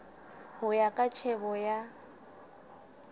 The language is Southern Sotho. ho ya ka tjhebo ya